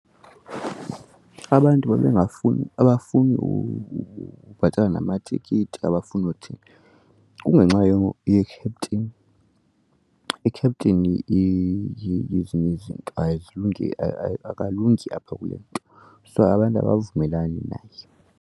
Abantu babengafuni abafuni ubhatala namatikiti abafuni uthini kungenxa ye-captain. I-captain yezinye izinto akalungi apha kule nto so abantu abavumelani naye.